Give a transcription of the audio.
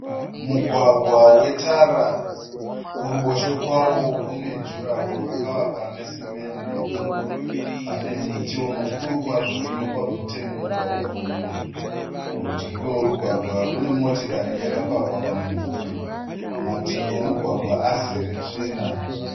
Mugwagwa wetara kuruboshwe kwawo kune juraho rakavakwa nesimende. Pane mitiwo mukuru kwazvo inopa bvute mumugwagwa uyu. Kurudyi kwemugwagwa kune motikari yakapakwa pamumvuri. Mativi emugwagwa azere tsvina.